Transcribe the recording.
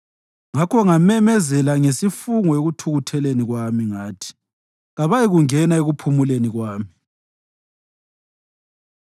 Ngakho ngamemezela ngesifungo ekuthukutheleni kwami ngathi, “Kabayikungena ekuphumuleni kwami.”